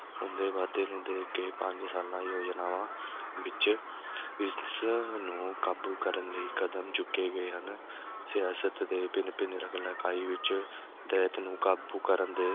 ਹੁੰਦੇ ਵਾਧੇ ਨੂੰ ਦੇਖ ਕੇ ਪੰਜ ਸਾਲਾਂ ਯੋਜਨਾਵਾਂ ਵਿੱਚ ਇਸ ਨੂੰ ਕਾਬੂ ਕਰਨ ਲਈ ਕਦਮ ਚੁੱਕੇ ਗਏ ਹਨ ਸਿਆਸਤ ਦੇ ਭਿੰਨ-ਭਿੰਨ ਵਿੱਚ ਦੈਤ ਨੂੰ ਕਾਬੂ ਕਰਨ ਦੇ